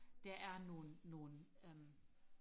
der er nogle nogle øhm